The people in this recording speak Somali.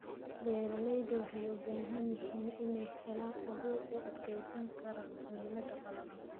Beeralayda waxay u baahan yihiin inay helaan abuur u adkeysan kara cimilada qalalan.